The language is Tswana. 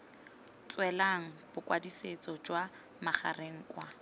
tswelang bokwadisetso jwa magareng kwa